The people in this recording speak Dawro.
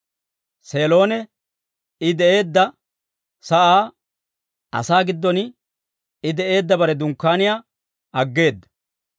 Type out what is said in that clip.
Seelon I de'eedda sa'aa, asaa giddon I de'eedda bare dunkkaaniyaa aggeeda.